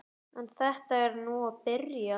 En þetta er nú að byrja.